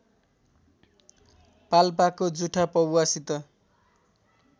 पाल्पाको जुठा पौवासित